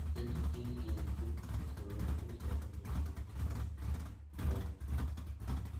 Kedu ka ị ga-esi soro ụzọ ndụ dị otú ahụ? um